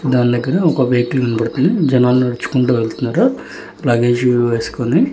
దాన్ లెక్కన ఒక వెహికల్ కనబడుతుంది జనాలు నడుచుకుంటూ వెళ్తున్నారు అలాగే షూ వేసుకుని.